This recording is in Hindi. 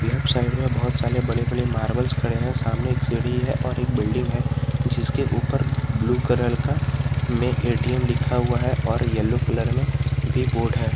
लेफ्ट साइड में बहुत साले बड़े बड़े मार्बल्स खड़े हैं सामने एक सीढ़ी है और एक बिल्डिंग है जिसके ऊपर ब्लू कलर का में ए_टी_एम लिखा हुआ है और येलो कलर में भी बोर्ड है।